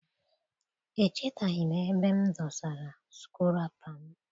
Echetaghi m ebe m dosara sukụrapa m.